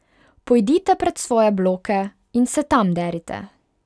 Pojdite pred svoje bloke in se tam derite.